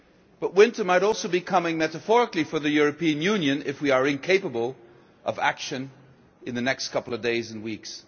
But winter might also be coming metaphorically for the European Union if we are incapable of action in the next couple of days and weeks.